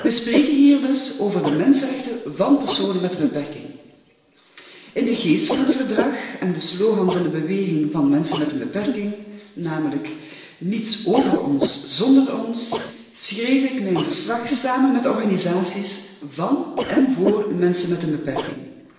We spreken hier dus over de mensenrechten van personen met een beperking. In de geest van het verdrag en van de slogan van de beweging van mensen met een beperking, namelijk Niets over ons zonder ons, schreef ik mijn verslag samen met organisaties van en voor mensen met een beperking.